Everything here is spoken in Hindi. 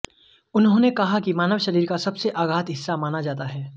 उन्होंने कहा कि मानव शरीर का सबसे आघात हिस्सा माना जाता है